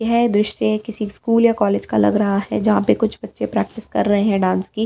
है दृश्य किसी स्कूल या कॉलेज का लग रहा है जहां पे कुछ बच्चे प्रैक्टिस कर रहे हैं डांस की।